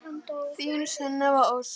Þín Sunneva Ósk.